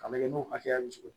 A bɛ kɛ n'o hakɛya muso ye